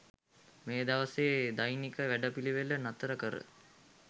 මේ දවසේ දෛනික වැඩපිළිවෙළ නතර කර